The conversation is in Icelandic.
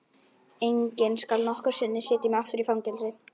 Enginn skal nokkru sinni setja mig aftur í fangelsi.